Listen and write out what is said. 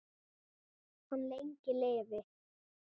Hann lengi lifi.